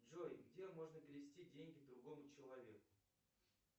джой где можно перевести деньги другому человеку